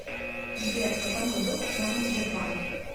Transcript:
сбер в каком году основан сбербанк